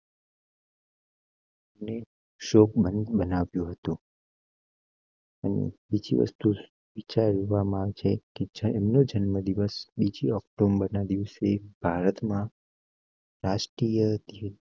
શોક મય બનાવ્યું હતું. બીજી વસ્તુ વિચારવા માં છે છે. એમ નો જન્મદિવસ બીજી ઓક્ટોબરના દિવસે ભારત માં. રાષ્ટ્રીય તરીકે